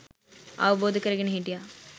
අවබෝධ කරගෙන හිටියා